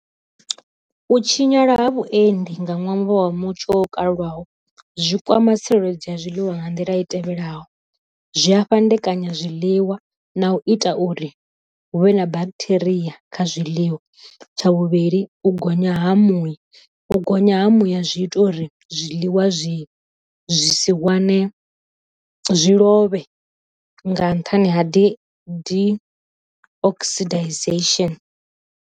U tshinyala ha vhuendi nga ṅwambo wa mutsho o kaliwaho, zwi kwama tsireledzo ya zwiḽiwa nga nḓila i tevhelaho, zwi a fhandekanya zwiḽiwa na u ita uri hu vhe na bacteria kha zwiḽiwa, tsha vhuvhili u gonya ha muya u gonya ha muya zwi ita uri zwiḽiwa zwi zwi si wane zwi lovhe nga nṱhani ha di di oxydisation.